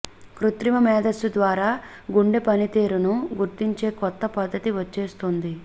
కృత్రిమ మేధస్సు ద్వారా గుండె పనితీరును గుర్తించే కొత్త పద్ధతి వచ్చేస్తోంది